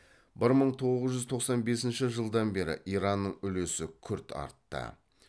бір мың тоғыз жүз тоқсан бесінші жылдан бері иранның үлесі күрт артты